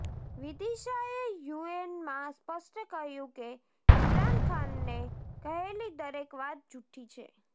વિદિશા એ યુએનમાં સ્પષ્ટ કહ્યું કે ઇમરાન ખાનને કહેલી દરેક વાત જુઠ્ઠી છે